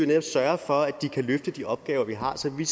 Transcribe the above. netop sørge for at de kan løfte de opgaver vi har så vi